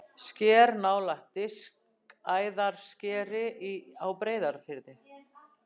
Sker nálægt Diskæðarskeri á Breiðafirði.